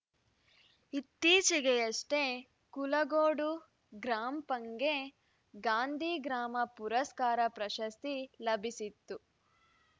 ಇತ್ತೀಚೆಗಷ್ಟೇ ಕುಲಗೋಡು ಗ್ರಾಪಂಗೆ ಗಾಂಧಿ ಗ್ರಾಮ ಪುರಸ್ಕಾರ ಪ್ರಶಸ್ತಿ ಲಭಿಸಿತ್ತು